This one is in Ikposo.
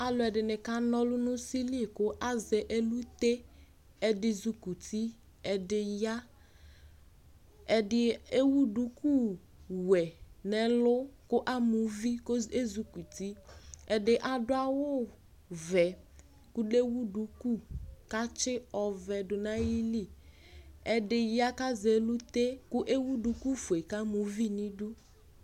Alu ɛdini kanɔlʋ nʋ usili kʋ azɛ eluteƐdi zukuti, ɛdi ya, ɛdi ewu duku wɛ nɛlʋ, kʋ amuvi , kʋ ezukutiƐdi adʋ awu vɛ, kʋ lewu duku, katsi ɔvɛ du nayiliƐdiya kazɛlute , kʋ ewu duku fue kamuvi nidu